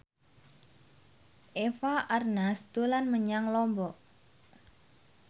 Eva Arnaz dolan menyang Lombok